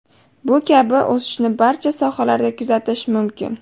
Bu kabi o‘sishni barcha sohalarda kuzatish mumkin!